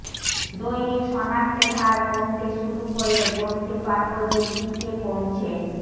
দৈনিক শনাক্তের হার কমতে শুরু করলে বলতে পারবো যে পিকে পৌঁছে